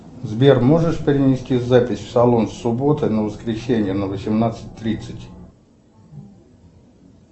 сбер можешь перенести запись в салон с субботы на воскресенье на восемнадцать тридцать